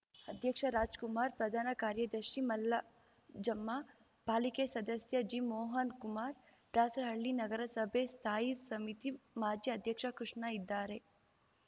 ಅಧ್ಯಕ್ಷ ರಾಜ್ ಕುಮಾರ್ ಪ್ರಧಾನ ಕಾರ್ಯದರ್ಶಿ ಮಲ್ಲಾಜಮ್ಮ ಪಾಲಿಕೆ ಸದಸ್ಯ ಜಿ ಮೋಹನ್ ಕುಮಾರ್ ದಾಸರಹಳ್ಳಿ ನಗರ ಸಭೆ ಸ್ಥಾಯಿ ಸಮಿತಿ ಮಾಜಿ ಅಧ್ಯಕ್ಷ ಕೃಷ್ಣ ಇದ್ದಾರೆ